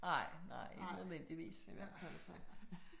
Nej, nej. Ikke nødvendigvis i hvert fald så